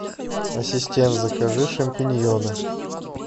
ассистент закажи шампиньоны